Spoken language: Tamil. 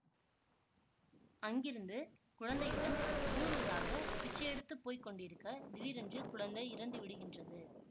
அங்கிருந்து குழந்தையுடன் ஊரூராக பிச்சை யெடுத்துப் போய் கொண்டிருக்க திடீரென்று குழந்தை இறந்து விடுகின்றது